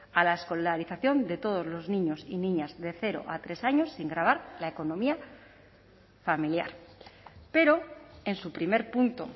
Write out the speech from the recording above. a la escolarización de todos los niños y niñas de cero a tres años sin gravar la economía familiar pero en su primer punto